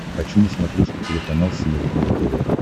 хочу на смотрешке телеканал синергия тв